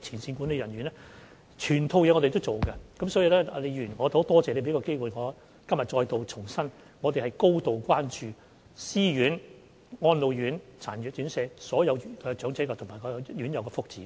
所以，李議員，我非常感謝你給我這個機會，今天重申我們是高度關注私院、安老院、殘疾人士院舍所有長者和院友的福祉。